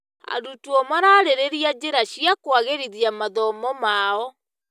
Arutwo mararĩrĩria njĩra cia kũagĩrithia mathomo mao.